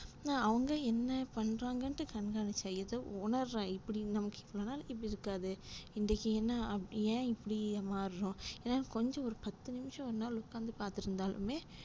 அவங்க என்ன பண்றாங்கன்ட்டு கண்காணிப்பு செய்து உணர்றான் இப்டி நமக்கு இவ்லோனால் இப்டி இருக்காது இன்றைக்கி என்னா ஏன்இப்டி மாற்றோம் என்னால கொஞ்சம் ஒரு பத்து நிமிஷம் என்னாலா உட்காந்து பாத்துட்டு இருந்தாலுமே,